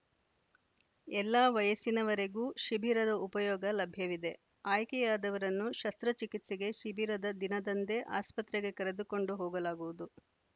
ಎಲ್ಲಾ ವಯಸ್ಸಿನವರೆಗೂ ಶಿಭಿರದ ಉಪಯೋಗ ಲಭ್ಯವಿದೆಆಯ್ಕೆಯಾದವರನ್ನು ಶಸ್ತ್ರ ಚಿಕಿತ್ಸಗೆ ಶಿಭಿರದ ದಿನದಂದೆ ಆಸ್ಪತ್ರಗೆ ಕರೆದುಕೊಂಡು ಹೋಗಲಾಗುವುದು